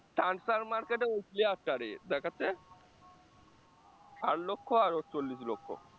market দ্যাখাচ্ছে আট লক্ষ আর ওর চল্লিশ লক্ষ